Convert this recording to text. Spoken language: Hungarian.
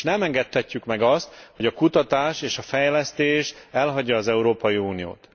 Nem engedhetjük meg azt, hogy a kutatás és fejlesztés elhagyja az Európai Uniót.